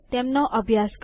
તેમનો અભ્યાસ કરો